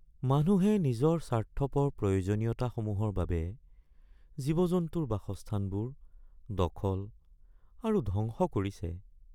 মানুহে নিজৰ স্বাৰ্থপৰ প্ৰয়োজনীয়তাসমূহৰ বাবে জীৱ-জন্তুৰ বাসস্থানবোৰ দখল আৰু ধ্বংস কৰিছে।